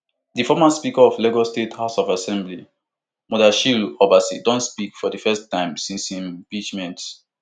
di former speaker of lagos state house of assembly mudashiru obasa don speak for di first time since im impeachment